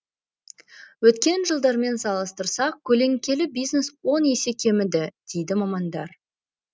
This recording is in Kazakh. өткен жылдармен салыстырсақ көлеңкелі бизнес он есе кеміді дейді мамандар